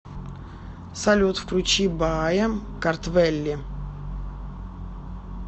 салют включи баая картвелли